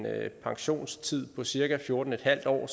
pensionstid på cirka fjorten en halv år